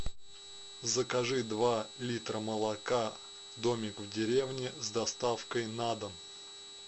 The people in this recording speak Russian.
закажи два литра молока домик в деревне с доставкой на дом